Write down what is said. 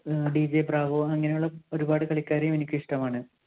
DJ Bravo അങ്ങനെയുള്ള ഒരുപാട് കളിക്കാരെയും എനിക്ക് ഇഷ്ടമാണ്.